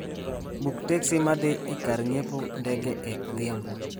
Buk teksi ma dhi e kar ng�iepo ndege e odhiambo